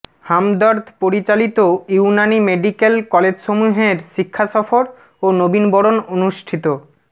হামদর্দ পরিচালিত ইউনানী মেডিক্যাল কলেজসমূহের শিক্ষা সফর ও নবীনবরণ অনুষ্ঠিত